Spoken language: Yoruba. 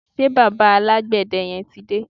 Ṣé bàbá alágbède yẹn ti dé?